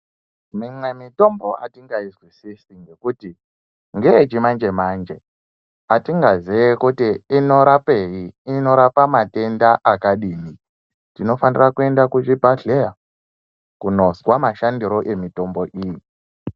Mimwe mitombo atingaizwisisi ngekuti ngeyechimanje-manje. Atingazii kuti inorapei, inorapa matenda akadini. Tinofanira kuenda kuzvibhedhleya kunozwa mashandire emitombo iyi.